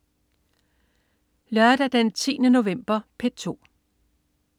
Lørdag den 10. november - P2: